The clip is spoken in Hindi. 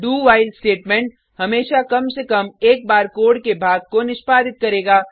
doव्हाइल स्टेटमेंट हमेशा कम से कम एक बार कोड के भाग को निष्पदित करेगा